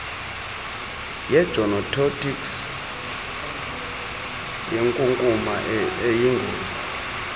yegenotoxic yinkunkuma eyingozi